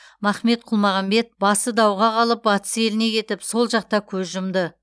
махмет құлмағамбет басы дауға қалып батыс еліне кетіп сол жақта көз жұмды